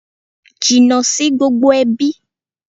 Jìnnà sí gbogbo ẹbí!